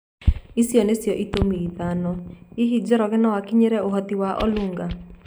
Ici nĩcio itũmi ithano, Hihi Njoroge no akinyĩre ũhoti wa Olunga?